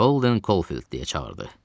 Holden Kolfild deyə çağırdı.